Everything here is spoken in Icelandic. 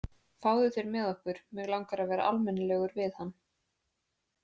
Fáðu þér með okkur, mig langar að vera almennilegur við hann.